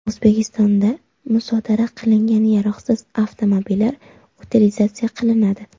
O‘zbekistonda musodara qilingan yaroqsiz avtomobillar utilizatsiya qilinadi .